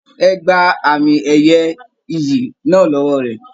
Ẹ gbà àmi ẹyẹ ìyí náà l'ọwọ rẹ!